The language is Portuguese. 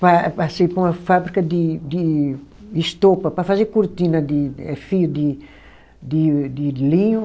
Pa passei para uma fábrica de de estopa, para fazer cortina de, eh fio de de de linho.